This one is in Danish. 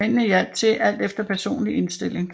Mændene hjalp til alt efter personlig indstilling